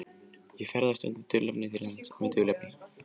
Ég ferðast undir dulnefni til lands með dulnefni.